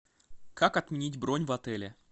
как отменить бронь в отеле